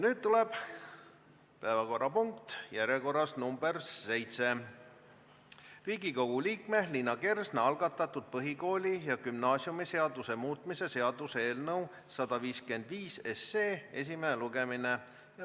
Nüüd tuleb päevakorrapunkt nr 7, Riigikogu liikme Liina Kersna algatatud põhikooli- ja gümnaasiumiseaduse muutmise seaduse eelnõu 155 esimene lugemine.